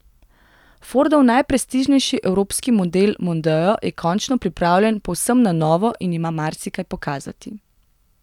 Fordov najprestižnejši evropski model mondeo je končno pripravljen povsem na novo in ima marsikaj pokazati.